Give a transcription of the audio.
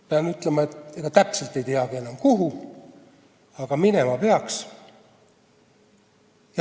Pean ütlema, et ega täpselt ei teagi enam, kuhu, aga minema peaks.